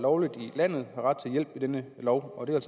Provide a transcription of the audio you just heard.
lovligt i landet har ret til hjælp i denne lov og det er